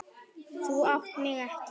Þú átt mig ekki.